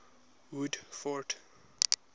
woodford